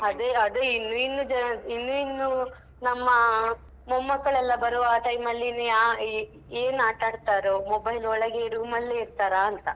ಅದೇ ಅದೇ ಅದೇ ಇನ್ನು ಇನ್ನು ಇನ್ನು ಇನ್ನೂ ನಮ್ಮಾ ಮೊಮ್ಮಕ್ಕಳೆಲ್ಲಾ ಬರುವಾ time ಅಲ್ಲಿ ಏನ್ ಆಟ ಆಡ್ತಾರೋ. mobile ಒಳಗೆ room ಅಲ್ಲೇ ಇರ್ತಾರಾಂತ.